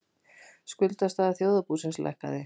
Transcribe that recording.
Skuldastaða þjóðarbúsins lækkaði